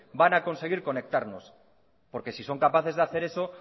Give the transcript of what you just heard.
porque si son capaces de hacer eso